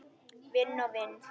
Vinn og vinn?